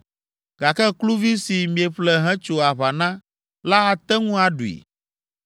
gake kluvi si mieƒle hetso aʋa na la ate ŋu aɖui.